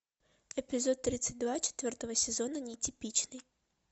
эпизод тридцать два четвертого сезона нетипичный